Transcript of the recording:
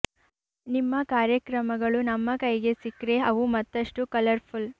ನಿಮ್ಮ ಕಾರ್ಯಕ್ರಮಗಳು ನಮ್ಮ ಕೈಗೆ ಸಿಕ್ರೆ ಅವು ಮತ್ತಷ್ಟು ಕಲರ್ ಫುಲ್